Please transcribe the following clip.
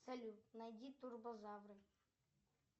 салют найди турбозавры